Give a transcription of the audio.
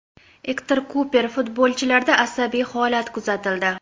Ektor Kuper: Futbolchilarda asabiy holat kuzatildi.